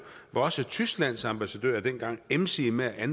var også tysklands ambassadør dengang emsig med at